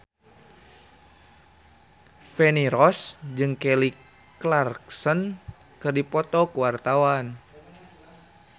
Feni Rose jeung Kelly Clarkson keur dipoto ku wartawan